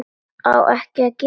Á ekki að gera það.